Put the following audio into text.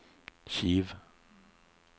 Kiev